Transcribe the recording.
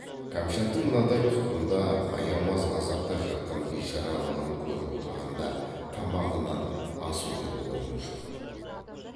кәмшаттың мынадай тұтқында аямас ғазапта жатқан бишаралығын көріп отырғанда тамағынан ас өтер орын жоқ